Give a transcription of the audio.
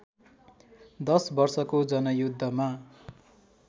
१० वर्षको जनयुद्धमा